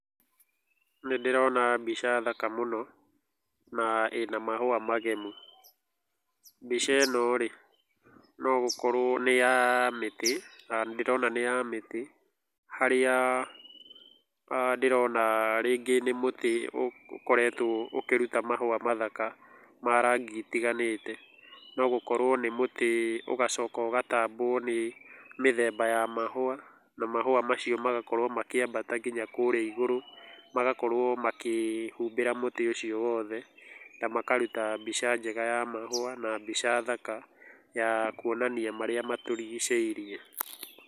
Nĩ ndĩrona mbica thaka mũno na ĩna mahũa magemu. Mbica ĩno rĩ, no gũkorwo nĩ ya mĩtĩ, na ndĩrona nĩ ya mĩtĩ. Harĩa aah ndĩrona rĩngĩ nĩ mũtĩ ũkoretwo ũkĩruta mahũa mathaka ma rangi itiganĩte. No gũkorwo nĩ mũtĩ ũgacoka ũgatambwo nĩ mĩthemba ya mahũa, na mahũa macio magakorwo makĩambata nginya kũũrĩa igũrũ, magakorwo makĩhumbĩra mũtĩ ũcio wothe, na makaruta mbica njega ya mahũa, na mbica thaka ya kuonania marĩa matũrigicĩirie.